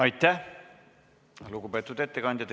Aitäh, lugupeetud ettekandja!